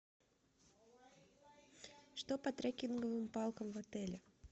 что по трекинговым палкам в отеле